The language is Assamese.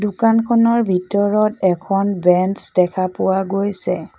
দোকানখনৰ ভিতৰত এখন বেঞ্চ দেখা পোৱা গৈছে।